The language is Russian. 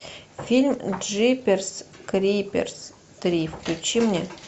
фильм джиперс криперс три включи мне